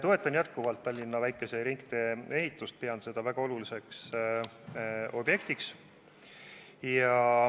Toetan jätkuvalt Tallinna väikese ringtee ehitust, pean seda väga oluliseks objektiks.